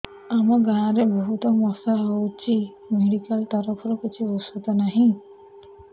ଆମ ଗାଁ ରେ ବହୁତ ମଶା ହଉଚି ମେଡିକାଲ ତରଫରୁ କିଛି ଔଷଧ ନାହିଁ